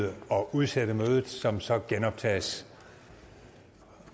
udsætte mødet som så genoptages